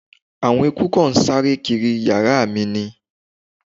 Àwọn eeku kan ń sáré kiri yàrá mi ni